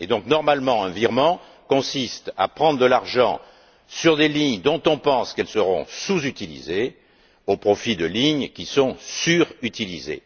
Normalement, un virement consiste à prendre de l'argent sur des lignes dont on pense qu'elles seront sous utilisées au profit de lignes qui sont surutilisées.